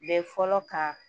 Bɛ fɔlɔ kan